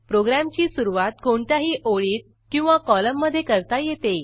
प्रोग्रॅमची सुरूवात कोणत्याही ओळीत किंवा कॉलममधे करता येते